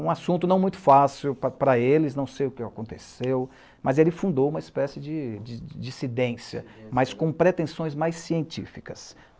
Um assunto não muito fácil para eles, não sei o que aconteceu, mas ele fundou uma espécie de dissidência, mas com pretensões mais científicas.